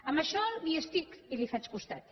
en això hi estic i li faig costat